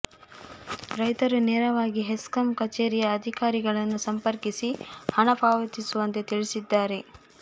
ರೈತರು ನೇರವಾಗಿ ಹೆಸ್ಕಾಂ ಕಛೇರಿಯ ಅಧಿಕಾರಿಗಳನ್ನು ಸಂಪರ್ಕಿಸಿ ಹಣ ಪಾವತಿಸುವಂತೆ ಅವರು ತಿಳಿಸಿದ್ದಾರೆ